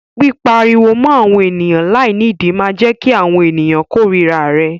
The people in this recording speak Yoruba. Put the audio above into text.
Pípariwo mọ́ àwọn ènìyàn láìnídìí máa jẹ́ kí àwọn ènìyàn kórira rẹ.